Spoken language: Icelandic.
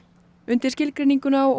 undir skilgreininguna á